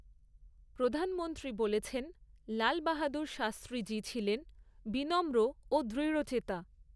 প্রধানমন্ত্রী বলেছেন, লাল বাহাদুর শাস্ত্রী জি ছিলেন বিনম্র ও দৃঢ়চেতা।